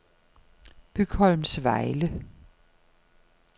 Bygholmsvejle